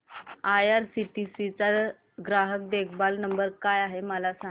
IRCTC चा ग्राहक देखभाल नंबर काय आहे मला सांग